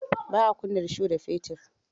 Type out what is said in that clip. Ba a kunna rusho da fetir.